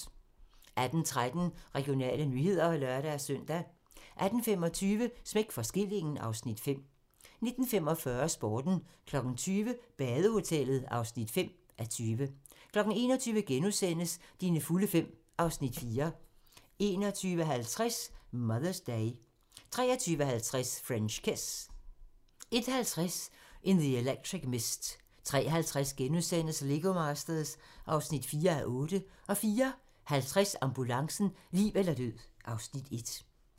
18:13: Regionale nyheder (lør-søn) 18:25: Smæk for skillingen (Afs. 5) 19:45: Sporten 20:00: Badehotellet (5:20) 21:00: Dine fulde fem (Afs. 4)* 21:50: Mother's Day 23:50: French Kiss 01:50: In the Electric Mist 03:50: Lego Masters (4:8)* 04:50: Ambulancen - liv eller død (Afs. 1)